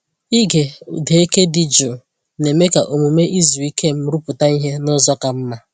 Ịge ụda eke dị jụụ na-eme ka omume izu ike m rụpụta ihe n'ụzọ ka mma.